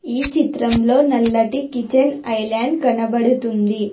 ఈ చిత్రంలో నల్లటి కిచెన్ ఐలాండ్ కనబడుతుంది.